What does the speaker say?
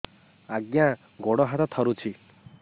ଆଜ୍ଞା ଗୋଡ଼ ହାତ ଥରୁଛି